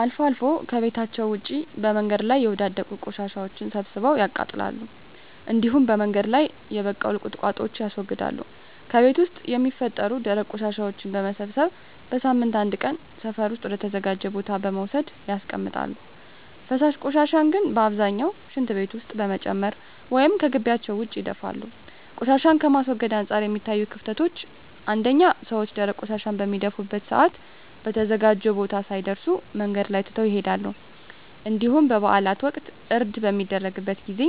አልፎ አልፎ ከቤታቸዉ ውጭ በመንገድ ላይ የወዳደቁ ቆሻሻወችን ሰብስበው ያቃጥላሉ እንዲሁም በመንገድ ላይ የበቀሉ ቁጥቋጦወችን ያስወግዳሉ። ከቤት ውስጥ የሚፈጠሩ ደረቅ ቆሻሻወችን በመሰብሰብ በሳምንት አንድ ቀን ሰፈር ውስጥ ወደ ተዘጋጀ ቦታ በመውሰድ ያስቀምጣሉ። ፈሳሽ ቆሻሻን ግን በአብዛኛው ሽንት ቤት ውስጥ በመጨመር ወይም ከጊቢያቸው ውጭ ይደፋሉ። ቆሻሻን ከማስወገድ አንፃር የሚታዩት ክፍተቶች አንደኛ ሰወች ደረቅ ቆሻሻን በሚደፉበት ሰአት በተዘጋጀው ቦታ ሳይደርሱ መንገድ ላይ ትተው ይሄዳሉ እንዲሁም በበአላት ወቅት እርድ በሚደረግበት ጊዜ